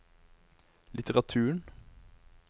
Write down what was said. litteraturen